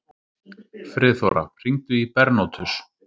Friðþóra, hringdu í Bernótus.